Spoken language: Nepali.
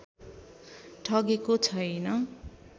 ठगेको छैन